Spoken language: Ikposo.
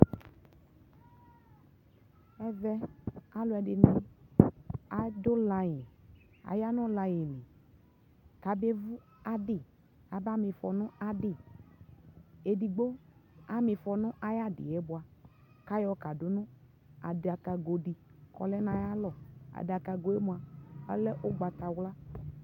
ɛvɛ alʋɛdini adʋ line, ayanʋ line li kʋ abɛ vʋ adi, aka miƒɔ nʋ adi, ɛdigbɔ amiƒɔ nʋ ayi adiɛ bʋa, kʋ ayɔ kadʋnʋ adakagɔ di kɔ lɛnʋ ayi alɔ, adakagɔɛ mʋa ɔlɛ ɔgbatawla